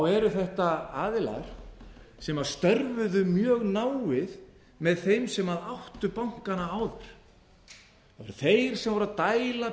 eru þetta aðilar sem störfuðu mjög náið með þeim sem áttu bankana áður alltsvo þeir sem voru að dæla